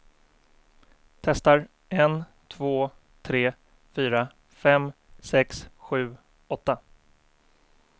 Testar en två tre fyra fem sex sju åtta.